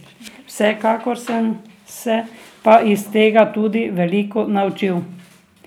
Vsekakor, sem se pa iz tega tudi veliko naučil.